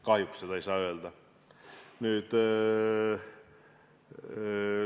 Kahjuks seda ei saa öelda.